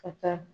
Ka taa